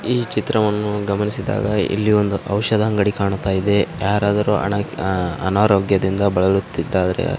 ಈ ಚಿತ್ರವನ್ನು ಗಮನಿಸಿದಾಗ ಇಲ್ಲಿ ಒಂದು ಔಷದ ಅಂಗಡಿ ಕಾಣ್ತಾಯಿದೆ ಯಾರಾದರೂ ಅನಾರೋಗ್ಯದಿಂದ ಬಳಲುತ್ತಿದ್ದರೆ --